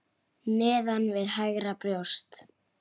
Neðan við hægra brjóst.